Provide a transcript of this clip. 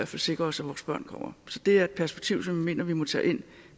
sikre os at vores børn kommer til det er et perspektiv som jeg mener vi må tage ind